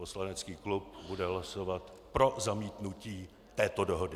Poslanecký klub bude hlasovat pro zamítnutí této dohody.